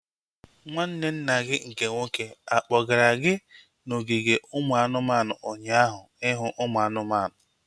Nwanne nna gị nke nwoke akpọgara gị n'ogige ụmụ anụmanụ ụnyaahụ ihu ụmụ anụmanụ?